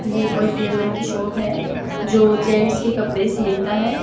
ये कोई टेलर की शॉप है जो जेंट्स के कपड़े सिलता है।